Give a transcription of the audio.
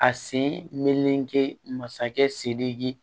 A sen meleke masakɛ sidiki